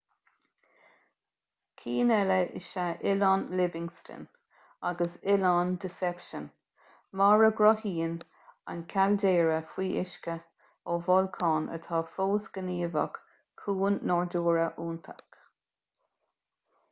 cinn eile is ea oileán livingston agus oileán deception mar a gcruthaíonn an caildéara faoi uisce ó bholcán atá fós gníomhach cuan nádúrtha iontach